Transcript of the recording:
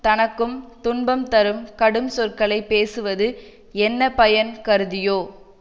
தனக்கும் துன்பம் தரும் கடும் சொற்களை பேசுவது என்ன பயன் கருதியோ